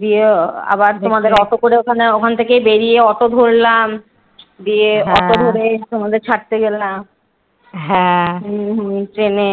গিয়ে আবার তোমাদের অটো করে ওখানে থেকে বেরিয়ে অটো ধরলাম দিয়ে অটো ধরে তোমাদের ছাড়তে গেলাম। হম হম ট্রেনে